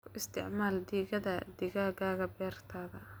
Ku isticmaal digada digaaga beertaada.